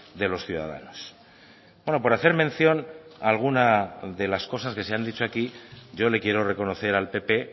de los ciudadanos bueno por hacer mención a alguna de las cosas que se han dicho aquí yo le quiero reconocer al pp